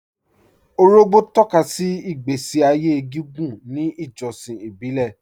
Òrògbó tọ̀kàsí ìgbèsí ayé gígùn ní ìjọ̀ṣìn ìbílẹ̀